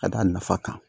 Ka d'a nafa kan